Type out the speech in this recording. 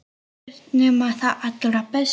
Ekkert nema það allra besta.